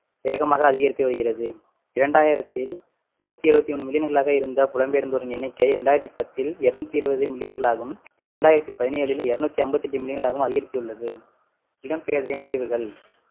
வேகமாக அதிகரித்து வருகிறது இரண்டாயிரத்தில் நூத்தி எழுபத்து ஓண்ணு million களாக இருந்த புலம்பெயர்ந்தோரின் எண்ணிக்கை இரண்டாயிரத்து பத்தில் இருநூத்தி இருபது million களாகவும் இரண்டாயிரத்து பதினேழில் இருநூத்தி ஐம்பத்தி எட்டு million களாகவும் அதிகரித்துள்ளது இடம்பெயர்தலின் விளைவுகள்